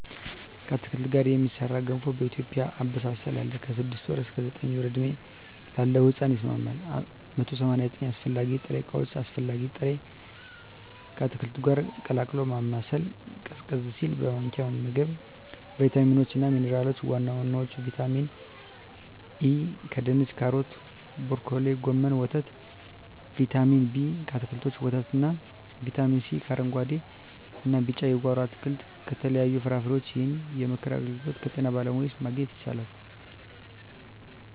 ከአትክልት ጋር የሚሠራ ገንፎ በኢትዮጵያ አበሳሰል አለ። ከ6 ወር እስከ 9 ወር ዕድሜ ላለው ሕጻን ይስማማል። 189 አስፈላጊ ጥሬ ዕቃዎች አስፈላጊ ጥሬ...፣ ከአትክልቱ ጋር ቀላቅሎ ማማሰል፣ ቀዝቀዝ ሲል በማንኪያ መመገብ። , ቫይታሚኖች እና ሚንራሎች(ዋና ዋናዎቹ) ✔️ ቫይታሚን ኤ: ከድንች ካሮት ብሮኮሊ ጎመን ወተት ✔️ ቫይታሚን ቢ: ከአትክልቶች ወተት እና ✔️ ቫይታሚን ሲ: ከአረንጉአዴ እና ቢጫ የጓሮ አትክልት ከተለያዩ ፍራፍሬዎች ይህንን የምክር አገልግሎት ከጤና ባለሙያዎች ማግኘት ይቻላል።